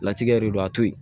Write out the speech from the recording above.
Latigɛ de don a to yen